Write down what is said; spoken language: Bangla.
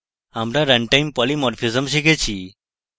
আমরা run time polymorphism শিখেছি